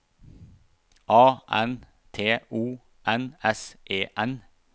A N T O N S E N